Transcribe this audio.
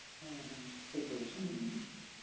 হম হম ঠিক বলেছ .